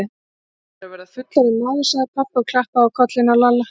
Hann er að verða fullorðinn maður, sagði pabbi og klappaði á kollinn á Lalla.